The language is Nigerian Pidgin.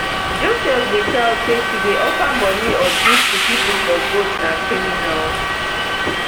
joseph whittal say to dey offer moni or gifts to pipo for votes na criminal